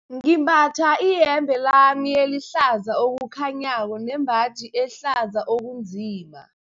Ngimbatha iyembe lami elihlaza okukhanyako nembaji ehlaza okunzima.